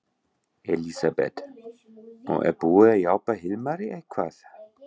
Elísabet: Og er búið að hjálpa Hilmari eitthvað?